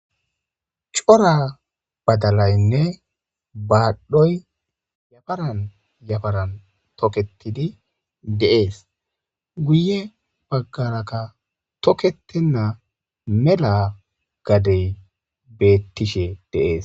Cora badalayinne badhdhoyi yafaranni yafaranni tokettiddi de'ees.guye bagarakka toketena mela gadeyi betishshe de'ees.